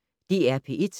DR P1